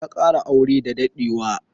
Ya kara aure da daɗewa.